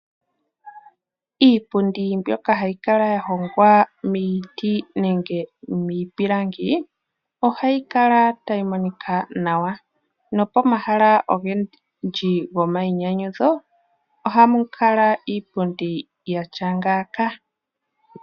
Iipundi mbyoka hayi kala ya hongwa miiti nenge miipilangi ohayi kala tayi monika nawa. Nopomahala ogendji gomainyanyudho oha mu kala iipundi ya tya ngaaka.